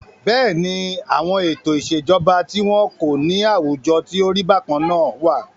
Bẹ́ẹ̀ni, àwọn ètò ìṣèjọba tí wọn kò ní àwùjọ tí o rí bákan náà wà.